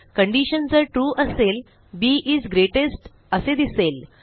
condition जर trueअसेल B is greatest असे दिसेल